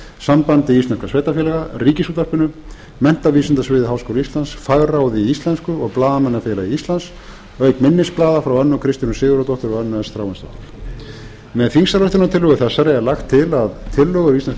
sambandi íslenskra sveitarfélaga ríkisútvarpinu menntavísindasviði háskóla íslands fagráði í íslensku og blaðamannafélagi íslands auk minnisblaða frá önnu kristínu sigurðardóttur og önnu s þráinsdóttur með þingsályktunartillögu þessari er lagt til að tillögur íslenskrar